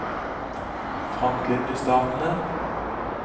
frontlinjestatene